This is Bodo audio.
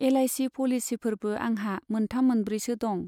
एलआइसि पलिसिफोरबो आंहा मोनथाम मोनब्रैसो दं।